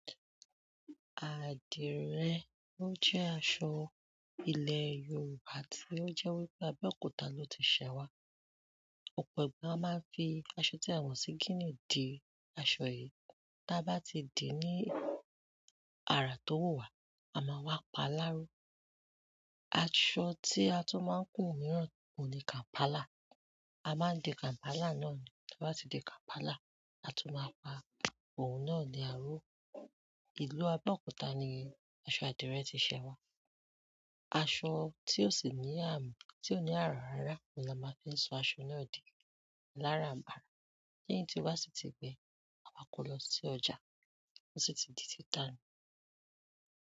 Adire jẹ aṣọ ilẹ yorùbá to jẹ Abeokuta lo ti ṣẹ wa. Òpọ̀ ẹgbẹ́ a máa ń fi aṣọ tí a mọ̀ sí gínì dì aṣọ yìí. Bí a bá ti dì ní àrà tó wù wá, a máa wá pa lááró. Aṣọ tí a tún máa ń kùn mìíràn òun ni kàm̀pálà. A máa ń di kàm̀pálà náà ni bí a bá ti di kàm̀pálà, a tún máa pa òun náà ní àáró. Ìlú Abẹ́òkúta ni aṣọ àdìrẹ ti ṣẹ wá. Aṣọ tí ó sì ní àmù, tí ò ní àrà rárá ni a máa ń fi so aṣọ náà dì alárànbarà. Lẹyín ti o ná sì ti gbẹ, àma kò lọ sí ọjà, ó sì ti di títa ni.